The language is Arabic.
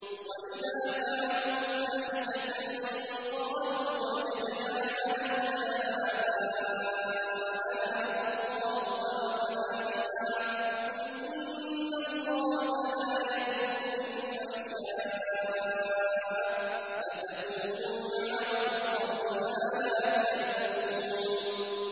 وَإِذَا فَعَلُوا فَاحِشَةً قَالُوا وَجَدْنَا عَلَيْهَا آبَاءَنَا وَاللَّهُ أَمَرَنَا بِهَا ۗ قُلْ إِنَّ اللَّهَ لَا يَأْمُرُ بِالْفَحْشَاءِ ۖ أَتَقُولُونَ عَلَى اللَّهِ مَا لَا تَعْلَمُونَ